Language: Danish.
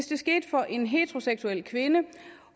det sker for en heteroseksuel kvinde